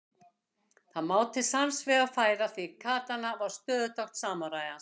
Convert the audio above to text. Það má til sanns vegar færa því katana var stöðutákn samúræjans.